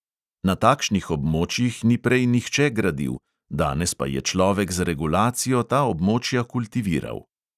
Na takšnih območjih ni prej nihče gradil, danes pa je človek z regulacijo ta območja kultiviral.